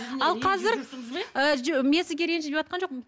ал қазір і мен сізге ренжіп жатқан жоқпын